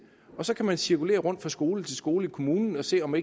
og så kan man cirkulere rundt fra skole til skole i kommunen og se om